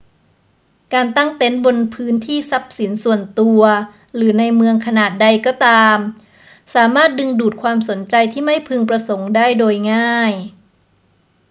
การตั้งเต็นท์บนพื้นที่ทรัพย์สินส่วนตัวหรือในเมืองขนาดใดก็ตาม สามารถดึงดูดความสนใจที่ไม่พึงประสงค์ได้โดยง่าย